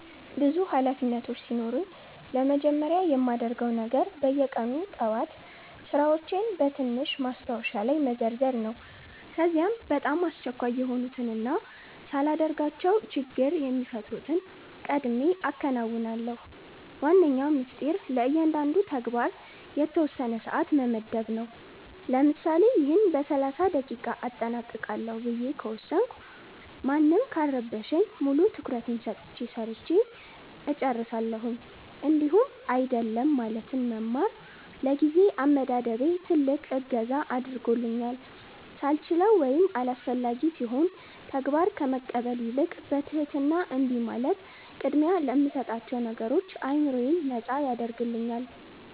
ብዙ ኃላፊነቶች ሲኖሩኝ ለመጀመሪያ የማደርገው ነገር በየቀኑ ጠዋት ሥራዎቼን በትንሽ ማስታወሻ ላይ መዘርዘር ነው። ከዚያ በጣም አስቸኳይ የሆኑትንና ሳላደርጋቸው ችግር የሚፈጥሩትን ቀድሜ አከናውናለሁ። ዋነኛው ሚስጥር ለእያንዳንዱ ተግባር የተወሰነ ሰዓት መመደብ ነው፤ ለምሳሌ "ይህን በ30 ደቂቃ አጠናቅቃለሁ" ብዬ ከወሰንኩ ማንም ካልረበሸኝ ሙሉ ትኩረቴን ሰጥቼ ሰርቸ እጨርሳለሁኝ። እንዲሁም "አይደለም" ማለትን መማር ለጊዜ አመዳደቤ ትልቅ እገዛ አድርጎልኛል፤ ሳልችለው ወይም አላስፈላጊ ሲሆን ተግባር ከመቀበል ይልቅ በትህትና እምቢ ማለት ቅድሚያ ለምሰጣቸው ነገሮች አዕምሮዬን ነጻ ያደርግልኛል።